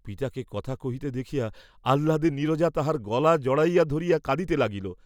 পিতাকে কথা কহিতে দেখিয়া আহ্লাদে নীরজা তাঁহার গলা জড়াইয়া ধরিয়া কাঁদিতে লাগিল।